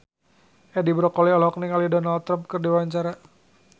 Edi Brokoli olohok ningali Donald Trump keur diwawancara